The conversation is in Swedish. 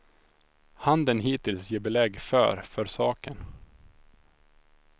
Handeln hittills ger belägg för för saken.